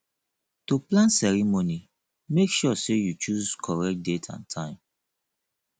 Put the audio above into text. to plan ceremony make sure say you choose correct date and time